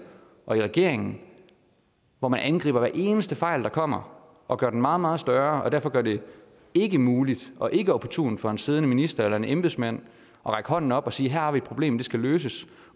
og i regeringen hvor man angriber hver eneste fejl der kommer og gør den meget meget større og derfor gør det ikkemuligt og ikkeopportunt for en siddende minister eller en embedsmand at række hånden op og sige at her har vi et problem det skal løses